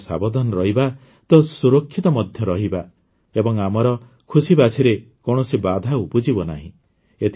ଆମେ ସାବଧାନ ରହିବା ତ ସୁରକ୍ଷିତ ମଧ୍ୟ ରହିବା ଏବଂ ଆମର ଖୁସିବାସିରେ କୌଣସି ବାଧା ଉପୁଜିବ ନାହିଁ